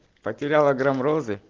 потеряла грамм розы